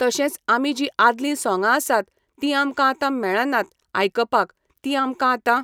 तशेंच आमी जीं आदलीं सोंगां आसात तीं आमकां आतां मेळणात आयकपाक, तीं आमकां आतां,